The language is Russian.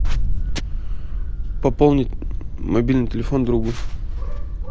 пополнить мобильный телефон другу